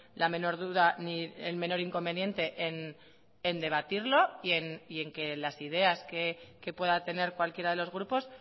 la menor duda ni el menor inconveniente en debatirlo y en que las ideas que pueda tener cualquiera de los grupos